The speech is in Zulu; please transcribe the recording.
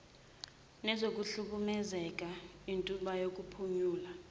nezokuhlukumezeka intuba yokuphunyula